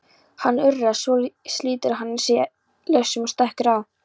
Hann urrar, svo slítur hann sig lausan og stekkur á